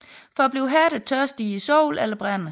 For at blive hærdet tørres de i solen eller brændes